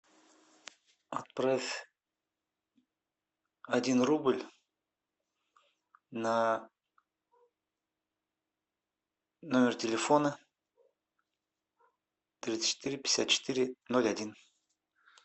отправь один рубль на номер телефона тридцать четыре пятьдесят четыре ноль один